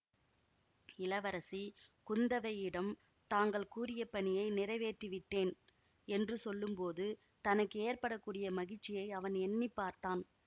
இளவரசி குந்தவையிடம் தாங்கள் கூறிய பணியை நிறைவேற்றிவிட்டேன் என்று சொல்லும்போது தனக்கு ஏற்பட கூடிய மகிழ்ச்சியை அவன் எண்ணி பார்த்தான்